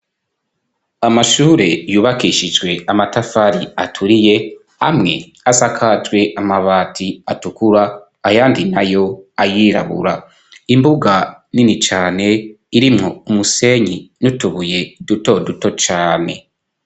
Amashure yubakishijwe amatafari aturiye, amwe asakajwe amabati atukura ayandi nayo ayirabura, imbuga nini cane irimwo umusenyi n'utubuye duto duto cane.